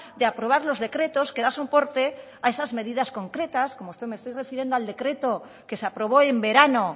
de aprobar los decretos que dan soporte a esas medidas concretas como me estoy refiriendo al decreto que se aprobó en verano